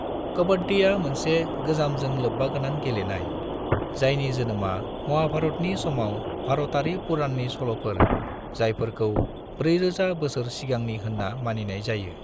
कबड्डीआ मोनसे गोजामजों लोब्बागोनां गेलेनाय, जायनि जोनोमआ महाभारतनि समाव भारतारि पुराननि सल'फोर जायफोरखौ 4000 बोसोर सिगांनि होनना मानिनाय जायो।